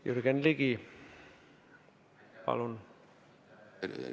Jürgen Ligi, palun!